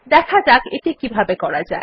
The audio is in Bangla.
দেখা যাক এটি কিভাবে করা যায়